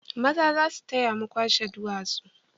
Maza za su taya mu kwashe duwatsu